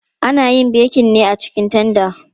Ana yin bekin ne a cikin tanda.